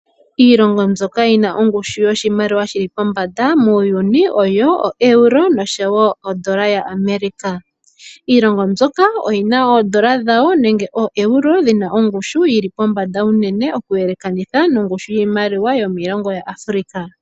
Iilongo mbyoka yina ongushu yoshimaliwa shili pombanda muuyuni oyo Euro noshowo odola yaAmerika. Iilongo mbyoka oyina oodola dhawo nenge ooeuro dhina ongushu yili pombanda unene oku yelekanitha nongushu yiimaliwa yomiilongo yaAfrika.